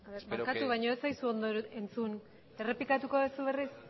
barkatu baina ez zaizu ondo entzun errepikatu duzu berriz